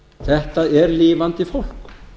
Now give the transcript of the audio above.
þetta er lifandi fólk